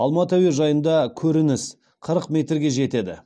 алматы әуежайында көрініс қырық метрге жетеді